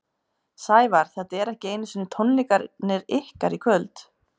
Sævar, þetta eru ekki einu tónleikarnir ykkar í kvöld?